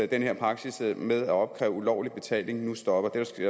den her praksis med at opkræve ulovlig betaling nu stopper det skal